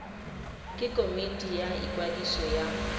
ke komiti ya ikwadiso ya